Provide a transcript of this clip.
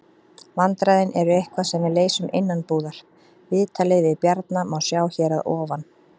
Vandræðin eru eitthvað sem við leysum innanbúðar. Viðtalið við Bjarna má sjá hér að ofan.